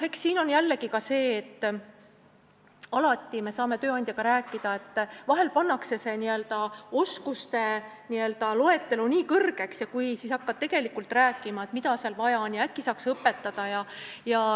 Eks siin ole jällegi see, et vahel tehakse see oskuste loetelu nii pikaks, aga siis sa hakkad rääkima, mida seal vaja on ja kas äkki saaks õpetada.